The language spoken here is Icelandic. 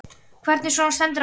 Hvernig svona stendur á þessu?